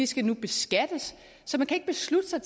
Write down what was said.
skal beskattes så man kan ikke beslutte sig